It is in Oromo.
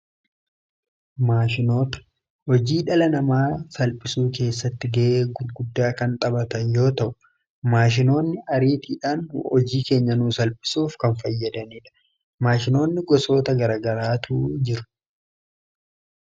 Maashinoota hojii dhala namaa salphisuu keessatti ga'ee guddaa kan taphatan yoota'u maashinoonni ariitiidhaan hojii keenya nuusalphisuuf kan fayyadaniidha. Maashinoonni gosoota garaa garaatu jiru.